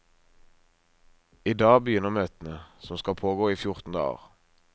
I dag begynner møtene, som skal pågå i fjorten dager.